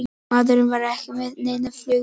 Maðurinn var ekki með neinn flugmiða